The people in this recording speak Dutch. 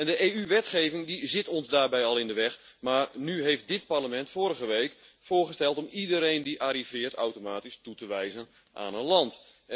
De EU-wetgeving zit ons daarbij al in de weg, maar nu heeft dit Parlement vorige week voorgesteld om iedereen die arriveert automatisch toe te wijzen aan een land.